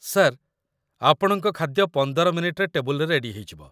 Sir, ଆପଣଙ୍କ ଖାଦ୍ୟ ୧୫ ମିନିଟ୍‌ରେ ଟେବୁଲରେ ରେଡି ହେଇଯିବ।